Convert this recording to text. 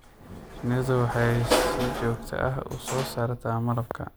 Shinnidu waxay si joogto ah u soo saartaa malabka.